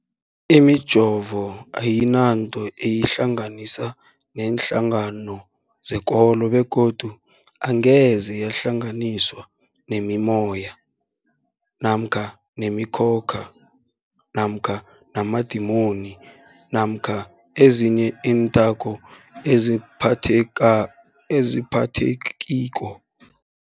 Imijovo ayinanto eyihlanganisa neenhlangano zekolo begodu angeze yahlanganiswa nemimoya, nemi khokha, namadimoni namkha ezinye iinthako ezingaphathekiko.